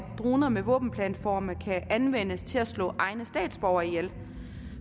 droner med våbenplatforme kan anvendes til at slå egne statsborgere ihjel